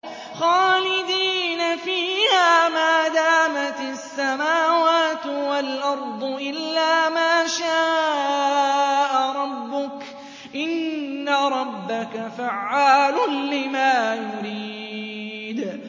خَالِدِينَ فِيهَا مَا دَامَتِ السَّمَاوَاتُ وَالْأَرْضُ إِلَّا مَا شَاءَ رَبُّكَ ۚ إِنَّ رَبَّكَ فَعَّالٌ لِّمَا يُرِيدُ